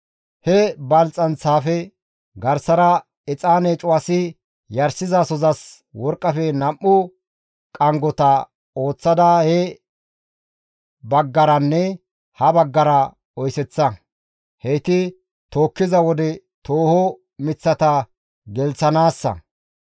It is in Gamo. He balxxanththafe garsara exaane cuwasi yarshizasozas worqqafe nam7u qanggota ooththada he baggaranne ha baggara oyseththa. Heyti tookkiza wode tooho miththata gelththanaassa.